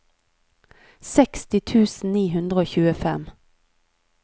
seksti tusen ni hundre og tjuefem